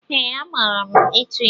Ee, amaara ịtụ ịlụ.